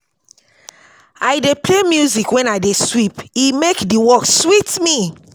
I dey play music when I dey sweep, e make the work sweet me.